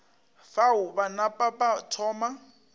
fao ba napa ba thoma